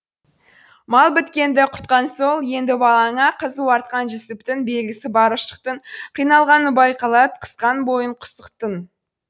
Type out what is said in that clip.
мал біткенді құртқан сол енді балаңа қызуы артқан жүсіптің белгісі бар ұшықтың қиналғаны байқалад қысқан бойын құсықтың